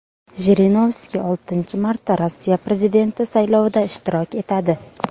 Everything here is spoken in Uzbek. Jirinovskiy oltinchi marta Rossiya prezidenti saylovida ishtirok etadi.